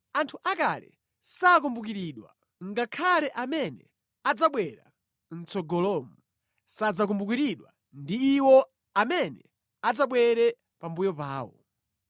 Anthu akale sakumbukiridwa, ngakhale amene adzabwera mʼtsogolomu sadzakumbukiridwa ndi iwo amene adzabwere pambuyo pawo.